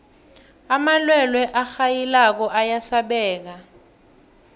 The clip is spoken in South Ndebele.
amalwelwe arhayilako ayasabeka